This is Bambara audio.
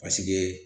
Paseke